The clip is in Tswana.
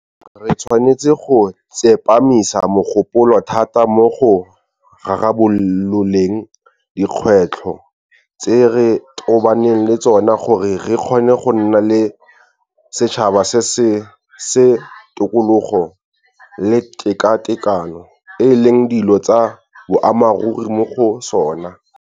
Re tshwanetse go tsepamisa mogopolo thata mo go rarabololeng dikgwetlho tse re tobaneng le tsona gore re kgone go nna le setšhaba se tokologo le tekatekano e leng dilo tsa boammaruri mo go sona.